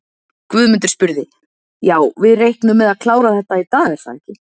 Guðmundur spurði: Já, við reiknum með að klára þetta í dag, er það ekki?